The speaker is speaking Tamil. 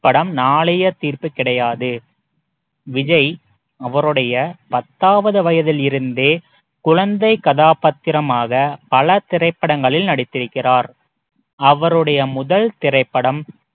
படம் நாளைய தீர்ப்பு கிடையாது விஜய் அவருடைய பத்தாவது வயதில் இருந்தே குழந்தை கதாபாத்திரமாக பல திரைப்படங்களில் நடித்திருக்கிறார் அவருடைய முதல் திரைப்படம்